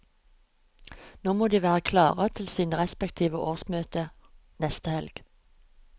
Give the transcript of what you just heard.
Nå må de være klare til sine respektive årsmøter neste helg.